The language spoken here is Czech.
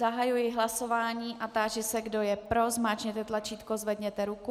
Zahajuji hlasování a táži se, kdo je pro, zmáčkněte tlačítko, zvedněte ruku.